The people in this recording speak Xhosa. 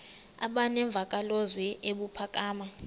aba nemvakalozwi ebuphakama